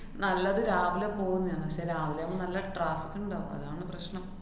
നല്ലത് രാവിലെ പോവുന്നയാണ്. പക്ഷെ രാവിലെയാവുമ്പ നല്ല traffic ഇണ്ടാവും. അതാണ് പ്രശ്നം.